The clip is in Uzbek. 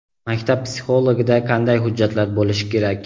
Maktab psixologida qanday hujjatlar bo‘lishi kerak?.